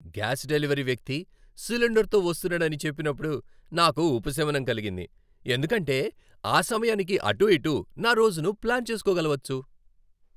Gas delivery వ్యక్తి సిలిండర్తో వస్తున్నాడని చెప్పినప్పుడు నాకు ఉపశమనం కలిగింది, ఎందుకంటే ఆ సమయానికి అటు ఇటు నా రోజును ప్లాన్ చేసుకోగలవచ్చు.